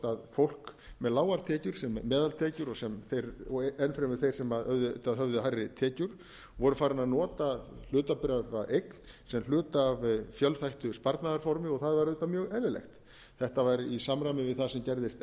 fólk með lágar tekjur meðaltekjur og enn fremur þeir sem auðvitað höfðu hærri tekjur voru farin að nota hlutabréfaeign sem hluta af fjölþættu sparnaðarformi og það var auðvitað mjög eðlilegt þetta var í samræmi við það sem gerðist